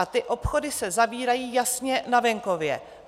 A ty obchody se zavírají jasně na venkově.